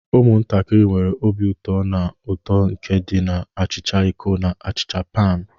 Ụmụntakịrị nwere obi ụtọ na uto nke di na achicha iko na achicha panu.